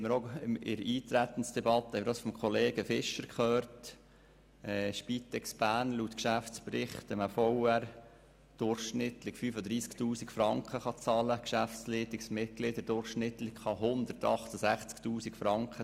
Wie wir in der Eintretensdebatte von Kollege Fischer gehört haben, kann die Spitex Bern laut dem Geschäftsbericht einem Verwaltungsratsmitglied durchschnittlich 35 000 Franken bezahlen und einem Geschäftsleitungsmitglied durchschnittlich 168 000 Franken.